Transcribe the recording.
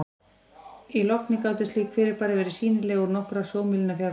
Í logni gátu slík fyrirbæri verið sýnileg úr nokkurra sjómílna fjarlægð.